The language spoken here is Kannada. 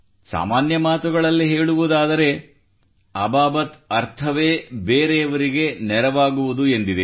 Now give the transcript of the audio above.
ಸಾಮಾನ್ಯ ಮಾತುಗಳಲ್ಲಿ ಹೇಳುವುದಾದರೆ ಅಬಾಬತ್ ಅರ್ಥವೇ ಬೇರೆಯವರಿಗೆ ನೆರವಾಗುವುದು ಎಂದಿದೆ